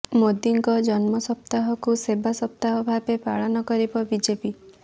ମୋଦିଙ୍କ ଜନ୍ମ ସପ୍ତାହକୁ ସେବା ସପ୍ତାହ ଭାବେ ପାଳନ କରିବ ବିଜେପି